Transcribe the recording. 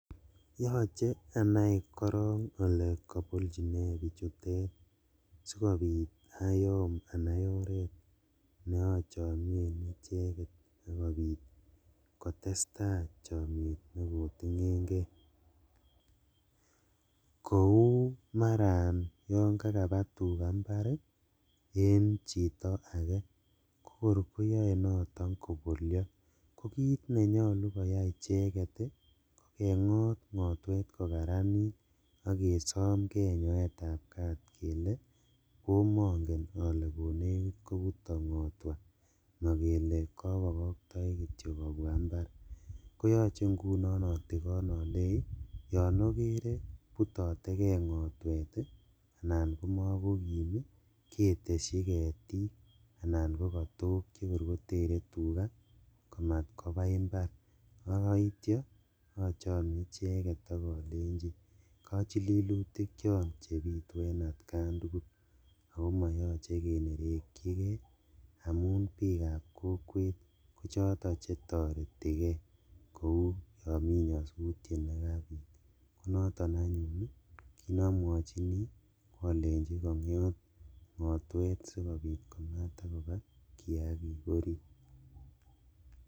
Yoche anai korong ole kobolchinee bichutet sikobit ayom anai oret neochomien icheket akobit kotestaa chomiet nekotingengee, kou yon maran yon kakaba tuga imbar en chito akee kokor koyoe noton kobolyo, kokit nenyolu koyai icheket ii kengot ngotwet kokaranit ak kesom kee nyoetab kat kele komonge ole konekit kobutok ngotwa mokele kobokoktoi kityok kobwa imbar koyoche otikon ingunon olei yon okere butotekee ngotwet ii anan koyon mokokim ii keteshi ketik anan ko kotok chekor kotere tugaa komatkobaa imbar, ak ityo ochomie icheket ok olenji kojililutik chon chebitu en atkan tugul ako moyoche kenetekjigee amun bikab kokwet kochoto chetoretikee kou yon mi nyosutiet nekabit konoton anyun ii kit nomwochini olenjini kongot ngotwet sikobit komatakoba kiakik orit .